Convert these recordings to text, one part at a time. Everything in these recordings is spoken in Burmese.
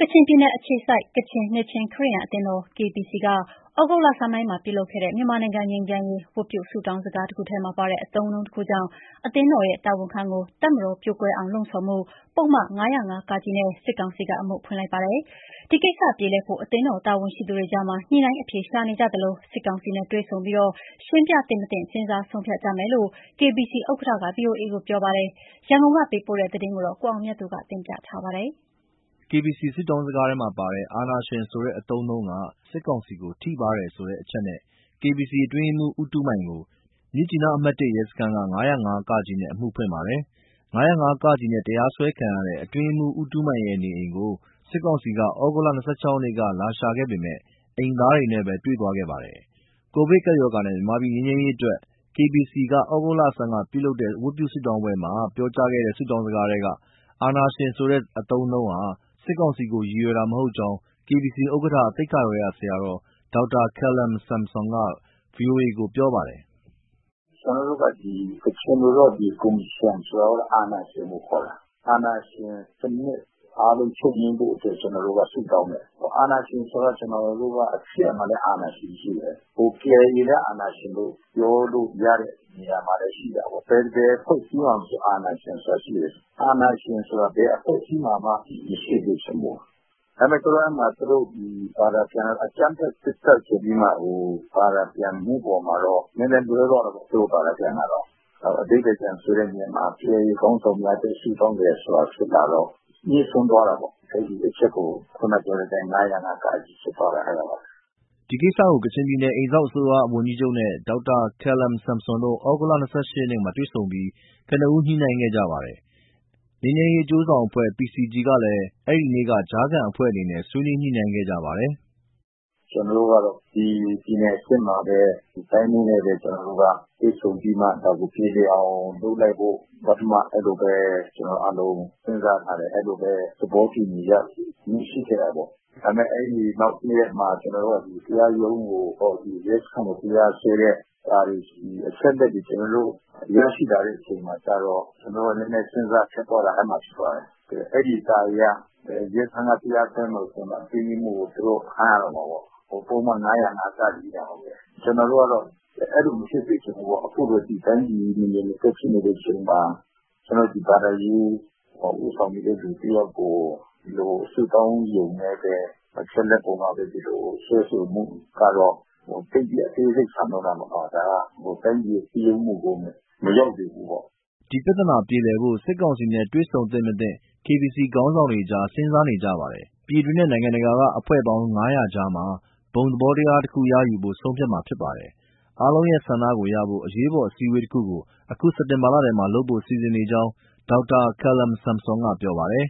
ကချင်ပြည်နယ်အခြေစိုက် ကချင် နှစ်ခြင်းခရစ်ယာန်အသင်းတော် (KBC) က ဩဂုတ်လဆန်းပိုင်းမှာလုပ်ခဲ့တဲ့ မြန်မာနိုင်ငံငြိမ်းချမ်းရေး ဝတ်ပြုဆုတောင်းစကားတခုထဲမှာပါတဲ့ အသုံးအနှုန်းတခုကြောင့် အသင်းတော်ရဲ့တာဝန်ခံကို တပ်မတော်ပြိုကွဲအောင်လှုံ့ဆော်မှု ပုဒ်မ ၅၀၅ ( က) နဲ့ စစ်ကောင်စီက အမှုဖွင့်လိုက်ပါတယ်။ ဒီကိစ္စပြေလည်ဖို့ အသင်းတော် တာဝန်ရှိသူတွေကြားမှာ ညှိနှိုင်း အဖြေရှာနေကြသလို စစ်ကောင်စီနဲ့ တွေ့ဆုံပြီး ရှင်းပြသင့် မသင့် စဉ်းစားဆုံးဖြတ်ကြမယ်လို့ KBC ဥက္ကဋ္ဌက ဗွီအိုအေကို ပြောပါတယ်။ ရန်ကုန်ကပေးပို့တဲ့ ဒီသတင်းကို ကိုအောင်မြတ်သူက ပြောပြပါမယ်။ KBC ဆုတောင်းစကားထဲမှာပါတဲ့ “ အာဏာရှင်” ဆိုတဲ့ အသုံးအနှုန်းက စစ်ကောင်စီကို ထိပါးတယ်ဆိုတဲ့အချက်နဲ့ KBC အတွင်းရေးမှူး ဦးတူးမိုင်ကို မြစ်ကြီးနားအမှတ် (၁) ရဲစခန်းက ၅၀၅ (က) နဲ့ အမှုဖွင့်ပါတယ်။ ၅၀၅ (က) နဲ့ တရားစွဲခံရတဲ့ အတွင်းရေးမှူး ဦးတူးမိုင်ရဲ့ နေအိမ်ကို စစ်ကောင်စီက သြဂုတ်လ ၂၆ ရက်နေ့က လာရှာခဲ့ပေမဲ့ အိမ်သားတွေနဲ့ပဲတွေ့သွားခဲ့ပါတယ်။ ကိုဗစ်ကပ်ရောဂါနဲ့ မြန်မာပြည်ငြိမ်းချမ်းရေးအတွက် KBC က သြဂုတ်လဆန်းကလုပ်ခဲ့တဲ့ ဝတ်ပြုဆုတောင်းပွဲမှာ ပြောခဲ့တဲ့ ဆုတောင်းစကားထဲက “အာဏာရှင်” ဆိုတဲ့ အသုံးအနှုန်းဟာ စစ်ကောင်စီကို ရည်ရွယ်တာ မဟုတ်ကြောင်း KBC ဥက္ကဋ္ဌ သိက္ခာတော်ရဆရာတော် ဒေါက်တာ Khalam Samson က ဗွီအိုအေကို ပြောပါတယ်။ “ကျနော်တို့က ဒီကချင်လိုတော့ “ ကိုမရှင်” ဆိုတာ အာဏာရှင်ကိုခေါ်တာ။ အာဏာရှင်စနစ် အားလုံးချုပ်ငြိမ်းဖို့အတွက် ကျနော်တို့က ဆုတောင်းတယ်။ အာဏာရှင်ဆိုတာ ကျနော်တို့က ခရစ်ယာန်မှာလည်း အာဏာရှင်ရှိတယ်၊ KIA လည်း အာဏာရှင်လို့ ပြောလို့ရတဲ့ နေရာမှာလည်းရှိတာပေါ့။ ဘယ်အဖွဲ့အစည်းမှာမဆို အာဏာရှင်ဆိုတာရှိတယ်။ အာဏာရှင်ဆိုတာ ဘယ်အဖွဲ့အစည်းမှာမှ မရှိစေချင်ဘူး။ ဒါပေမဲ့ သူတို့ဘာသာပြန်တော့ အကြမ်းဖက စစ်တပ်ဆိုပြီးမှ ဘာသာပြန်မှုအပေါ်မှာတော့ နည်းနည်းလွဲသွားတာပေါ့ သူတို့ဘာသာပြန်တာ။ အဓိပ္ပာယ် ပြန်ဆိုတဲ့နေရာမှာ KIA ခေါင်းဆောင်များအတွက် ဆုတောင်းတယ်ဆိုတာ ဖြစ်လာတော့ ငြိစွန်းသွားတာပေါ့။ အဲဒီအချက်က ၅၀၅ (က) ဖြစ်သွားတာ အဲဒါပါပဲ။” ဒီကိစ္စကို ကချင်ပြည်နယ် အိမ်စောင့်အစိုးရဝန်ကြီးချုပ်နဲ့ ဒေါက်တာ Khalam Samson တို့ ဩဂုတ်လ ၂၈ ရက်မှာတွေ့ဆုံပြီး ကနဦး ညှိနှိုင်းခဲ့ကြပါတယ်။ ငြိမ်းချမ်းရေးအကျိုးဆောင်အဖွဲ့ PCG ကလည်း အဲဒီနေ့က ကြားခံအဖွဲ့အနေနဲ့ ဆွေးနွေး ညှိနှိုင်းခဲ့ပါတယ်။ “ကျနော်တို့ကတော့ ဒီပြည်နယ်အဆင့်မှာပဲ တိုင်းမှူးနဲ့ပဲ ကျနော်တို့က တွေ့ဆုံပြီးမှ ဒါကိုပြေလည်အောင် လုပ်လိုက်ဖို့ ပထမအဲလိုပဲ ကျနော်တို့အားလုံး စဉ်းစားထားတယ်၊ အဲလိုပဲ သဘောတူညီရယူမှု ရှိခဲ့တာပေါ့။ ဒါပေမဲ့ နောက်တရက်မှာ တရားရုံးကို ရဲစခန်းက တရားစွဲတဲ့ အချက်အလက်တွေ ကျနော်တို့ ရရှိလာတဲ့အချိန်မှာကျ ကျနော်တို့က နည်းနည်း စဉ်းစားရခက်သွားတယ် အဲဒီမှာ။ အဲဒီစာအရ ရဲစခန်းက တရားစွဲမယ်ဆိုရင်တော့ အတွင်းရေးမှူးကို သူတို့ဖမ်းရတော့မှာပေါ့ ပုဒ်မ ၅၀၅ ( က) နဲ့။ ကျနော်တို့က အဲလို မဖြစ်စေချင်ဘူးပေါ့၊ အခုလိုတိုင်းပြည်ကြီး မငြိမ်မသက် ဖြစ်နေချိန်မှာ ဘာသာရေးဦးဆောင်နေတဲ့ သူတယောက်ကို ဒီလိုဆုတောင်းရုံနဲ့ပဲ အချက်အလက်အပေါ်မှာပဲ စွဲဆိုမှုကတော့ သိပ်ပြီး အသေးစိပ်ဆန်လွန်းတာပေါ့နော်။ ဒါက တိုင်းပြည်ရဲ့ စည်းရုံးမှုကို မရောက်ဘူးပေါ့။” ဒီပြဿနာပြေလည်ဖို့ စစ်ကောင်စီနဲ့ တွေ့ဆုံသင့်မသင့် KBC ခေါင်းဆောင်တွေကြား စဉ်းစားနေကြပါတယ်။ ပြည်တွင်းနဲ့ နိုင်ငံတကာက အဖွဲ့ဝင်ပေါင်း ၅၀၀ ကြားမှာ ဘုံသဘောထားတခုရယူဖို့ ဆုံးဖြတ်မှာဖြစ်ပါတယ်။ အားလုံးရဲ့ဆန္ဒကိုရဖို့ အရေးပေါ် အစည်းအဝေးတခုကို အခုစက်တင်ဘာလထဲမှာ လုပ်ဖို့စီစဉ်နေကြောင်း ဒေါက်တာ Khalam Samson က ပြောပါတယ်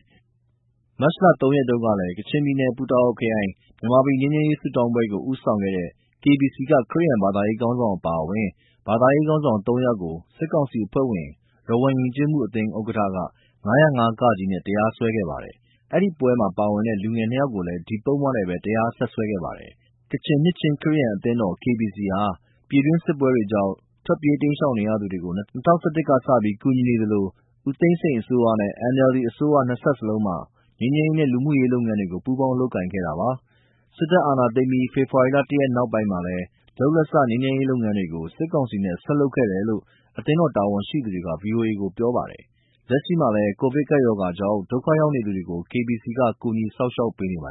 ။ မတ်လ ၃ ရက်တုန်းကလည်း ကချင်ပြည်နယ်၊ ပူတာအိုခရိုင်က မြန်မာပြည်ငြိမ်းချမ်းရေး ဆုတောင်းပွဲကို ဦးဆောင်ခဲ့တဲ့ KBC က ခရစ်ယာန် ဘာသာရေးခေါင်းဆောင်အပါအဝင် ဘာသာရေးခေါင်းဆောင် ၃ ယောက်ကို စစ်ကောင်စီအဖွဲ့ဝင် ရဝမ်ယဉ်ကျေးမှုအသင်း ဥက္ကဋ္ဌက ၅၀၅ (က) နဲ့ တရားစွဲခဲ့ပါတယ်။ အဲဒီပွဲမှာပါဝင်တဲ့ လူငယ် နှစ်ယောက်ကိုလည်း ဒီပုဒ်မနဲ့ပဲ တရားဆက်စွဲခဲ့ပါတယ်။ ကချင်နှစ်ခြင်းခရစ်ယာန်အသင်းတော် KBC ဟာ ပြည်တွင်း စစ်ပွဲတွေကြောင့် ထွက်ပြေး၊ တိမ်းရှောင်နေရသူတွေကို ၂၀၁၁ ကစပြီး ကူညီနေသလို ဦးသိန်းစိန်အစိုးရ၊ NLD အစိုးရ နှစ်ဆက်လုံးမှာ ငြိမ်းချမ်းရေးနဲ့ လူမှုရေးလုပ်ငန်းတွေကို ပူးပေါင်းလုပ်ကိုင်ခဲ့တာပါ။ စစ်တပ်အာဏာသိမ်းပြီး ဖော်ဖော်ဝါရီ ၁ ရက်နောက်ပိုင်းမှာလည်း လုပ်လက်စ ငြိမ်းချမ်းရေးလုပ်ငန်းတွေကို စစ်ကောင်စီနဲ့ ဆက်လုပ်ခဲ့တယ်လို့ အသင်းတော်တာဝန်ရှိသူက ဗွီအိုအေကို ပြောပါတယ်။ လက်ရှိမှာလည်း ကိုဗစ်ကပ်ရောဂါကြောင့် ဒုက္ခရောက်နေသူတွေကို KBC က ကူညီစောင့်ရှောက်ပေးနေပါတ